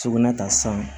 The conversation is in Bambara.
Sugunɛ ta san